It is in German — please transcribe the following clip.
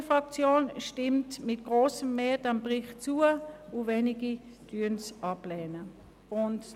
Die SVP-Fraktion nimmt diesen Bericht mit grossem Mehr zur Kenntnis.